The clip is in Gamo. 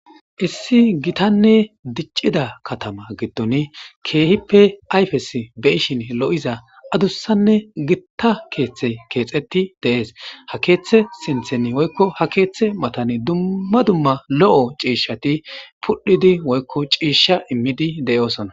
Issi gittane dicida katama kihippe ayfes beyishin lo'iza adusane gitta kethiy kexeti de'es ha karethay sinthen woykon ketha matan cishati ciyidi woy cisha imidi de'osona